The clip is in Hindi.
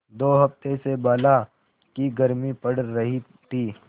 दो हफ्ते से बला की गर्मी पड़ रही थी